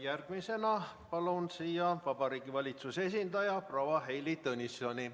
Järgmisena palun siia Vabariigi Valitsuse esindaja proua Heili Tõnissoni.